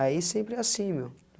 Aí sempre é assim, meu.